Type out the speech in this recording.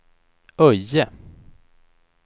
Öje